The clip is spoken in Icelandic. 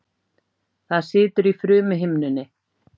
Það situr í frumuhimnunni.